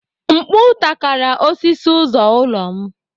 Mkpu takara osisi ụzọ ụlọ m